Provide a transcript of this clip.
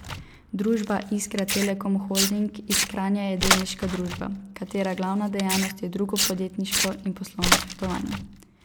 Družba Iskra Telekom Holding iz Kranja je delniška družba, katere glavna dejavnost je drugo podjetniško in poslovno svetovanje.